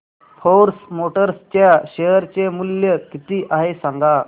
force Motors च्या share चे मूल्य किती आहे सांगा